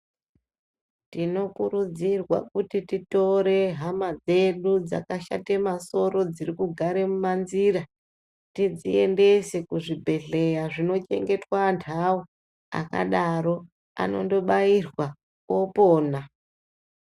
Tinokurudzirwa kuti titore hama dzedu dzaka shate masoro dziri kugare mu manzira tidzi endese ku zvibhedhleya zvino chengetwa andawu akadaro anondo bairwa opona.